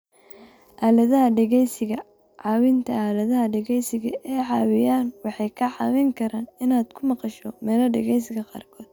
Aaladaha Dhageysiga Caawinta Aaladaha dhegeysiga ee caawiya waxay kaa caawin karaan inaad ku maqasho meelo dhegeysiga qaarkood.